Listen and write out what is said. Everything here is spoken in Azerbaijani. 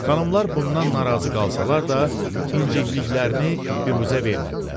Xanımlar bundan narazı qalsalar da incikliklərini biruzə vermədilər.